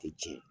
Ti cɛn